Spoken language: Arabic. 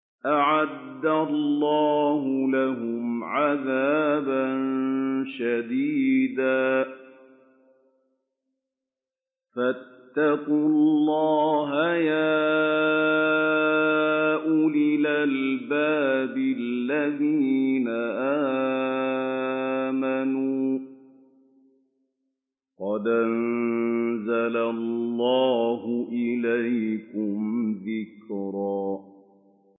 أَعَدَّ اللَّهُ لَهُمْ عَذَابًا شَدِيدًا ۖ فَاتَّقُوا اللَّهَ يَا أُولِي الْأَلْبَابِ الَّذِينَ آمَنُوا ۚ قَدْ أَنزَلَ اللَّهُ إِلَيْكُمْ ذِكْرًا